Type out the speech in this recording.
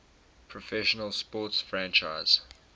professional sports franchise